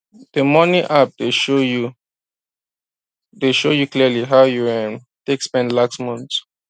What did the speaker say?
d money app dey show you dey show you clearly how you um take spend last month